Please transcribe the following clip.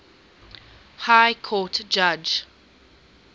high court judge